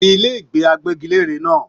Tí ilé ìgbé àgbẹgilère náà!